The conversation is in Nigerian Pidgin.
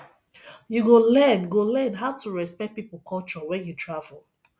you go learn go learn how to respect people culture when you travel